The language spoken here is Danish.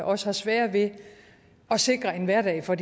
også sværere ved at sikre en hverdag for